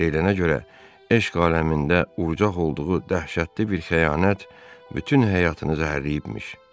Deyilənə görə eşq aləmində urcaq olduğu dəhşətli bir xəyanət bütün həyatını zəhərləyibmiş.